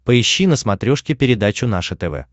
поищи на смотрешке передачу наше тв